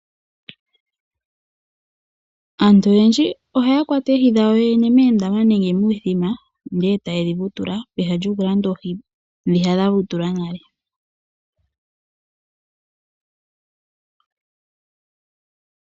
Aantu oyedji ohaya kwata oohi dhawo yene moondama nenge momithima ndele etaye dhivutula pehala lyokulanda oohi ndhi dhavutulwa nale.